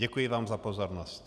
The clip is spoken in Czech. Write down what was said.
Děkuji vám za pozornost.